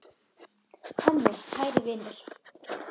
Tommi, kæri vinur.